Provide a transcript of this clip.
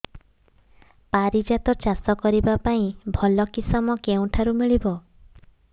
ପାରିଜାତ ଚାଷ କରିବା ପାଇଁ ଭଲ କିଶମ କେଉଁଠାରୁ ମିଳିବ